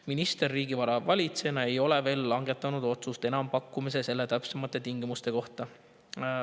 Minister riigivara valitsejana ei ole veel langetanud otsust enampakkumise täpsemate tingimuste kohta.